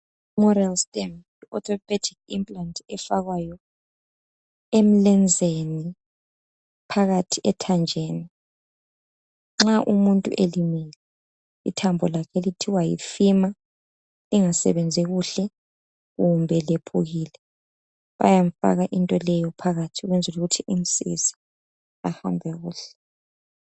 Moral stamp orthopedic implant efakwayo emlenzeni phakathi ethanjeni nxa umuntu elimele ithambo lakhe elithiwa yi femur lingasebenzi kuhle kumbe lephukile bayamfaka into leyo phakathi ukwenzela ukuthi imsize ahambe kuhle